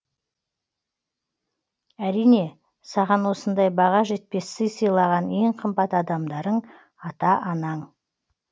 әрине саған осындай баға жетпес сый сыйлаған ең қымбат адамдарың ата анаң